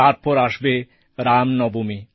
তারপর আসবে রামনবমী